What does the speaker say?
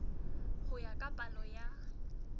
ho ya ka palo ya